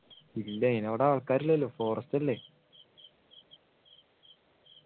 ഇല്ല ആൾക്കാർ ഇല്ലല്ലോ forest അല്ലെ